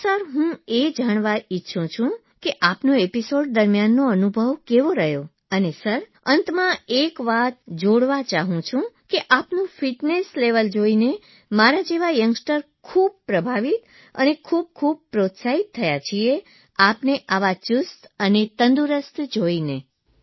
તો સર હું એ જાણવા ઇચ્છું છું કે આપનો એપીસોડ દરમ્યાન અનુભવ કેવો રહ્યો અને સર અંતમાં હું એક વાત જોડવા ચાહું છું કે આપનું ફીટનેસ લેવલ તંદુરસ્તીનું સ્તર જોઇને મારા જેવા યંગસ્ટર્સ ખૂબ ઇમ્પ્રેસ પ્રભાવિત અને ખૂબ ખૂબ મોટીવેટ પ્રોત્સાહિત થયા છીએ આપને આટલા ચૂસ્ત અને તંદુરસ્ત જોઇને